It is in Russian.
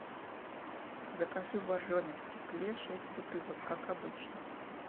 закажи боржоми в стекле шесть бутылок как обычно